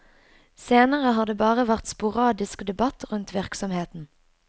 Senere har det bare vært sporadisk debatt rundt virksomheten.